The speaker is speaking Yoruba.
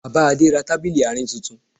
Bàbá Adé ra tábìlì àárín tuntun